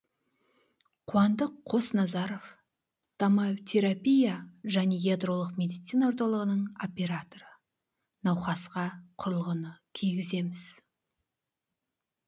қуандық қосназаров томотерапия және ядролық медицина орталығының операторы науқасқа құрылғыны кигіземіз